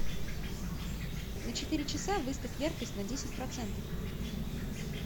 на четыре часа выставь яркость на десять процентов